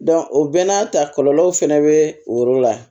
o bɛɛ n'a ta kɔlɔlɔw fɛnɛ bɛ o yɔrɔ la